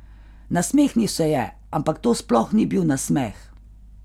Nasmehnil se je, ampak to sploh ni bil nasmeh.